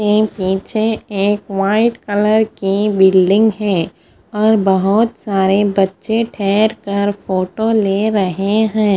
ये पीछे एक वाइट कलर की बिल्डिंग है और बहोत सारे बच्चे ठहेर कर फोटो ले रहे है।